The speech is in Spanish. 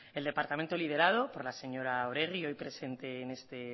el departamento liderado por la señora oregi hoy presente en este